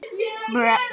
Já, það er á hreinu.